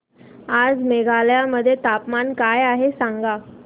आज मेघालय मध्ये तापमान काय आहे सांगा